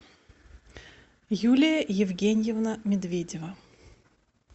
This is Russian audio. юлия евгеньевна медведева